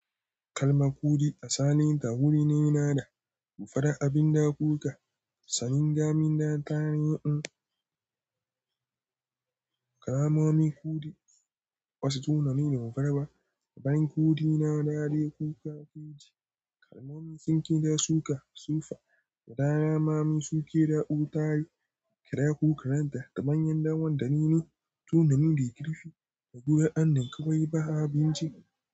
Kalma kuɗi a salinta wuri ne nana da gufara, abin da kuka sanin damina tare. In kalamomi kuɗi wasu tunanin gagarwa, daban kuɗi na dade kuka ciji kalamomi sun kida suka sufara da damami suke ɗauka tare kira ko karanta daban yanda wanda nene tunani da ya girki da gurin an nan ka bari ba abinci.